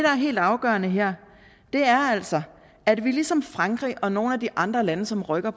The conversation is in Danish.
er helt afgørende her er altså at vi ligesom frankrig og nogle af de andre lande som rykker